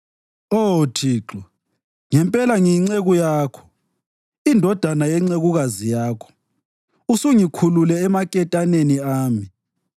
Oh Thixo, ngempela ngiyinceku Yakho, indodana yencekukazi yakho; usungikhulule emaketaneni ami.